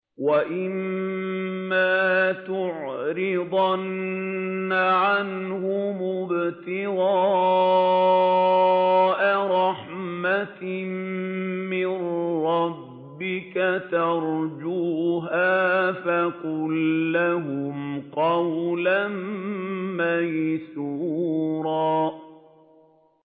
وَإِمَّا تُعْرِضَنَّ عَنْهُمُ ابْتِغَاءَ رَحْمَةٍ مِّن رَّبِّكَ تَرْجُوهَا فَقُل لَّهُمْ قَوْلًا مَّيْسُورًا